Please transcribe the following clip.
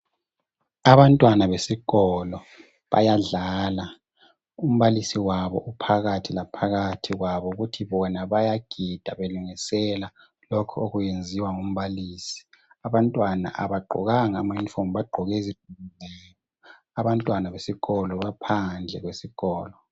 Abantwana besikolo bayadlala, umbalisi wabo uphakathi laphakathi kwabo, kuthi bona bayagida belungisela lokho okwenziwa ngumbalisi, abantwana abagqokanga ama"uniform"bagqoke izi, abantwana besikolo baphandle kwesikolo.